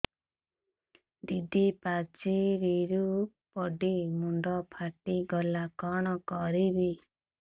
ଦିଦି ପାଚେରୀରୁ ପଡି ମୁଣ୍ଡ ଫାଟିଗଲା କଣ କରିବି